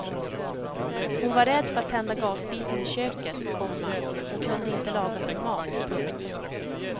Hon var rädd för att tända gasspisen i köket, komma hon kunde inte laga sin mat. punkt